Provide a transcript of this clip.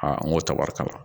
n ko tɛ wari kama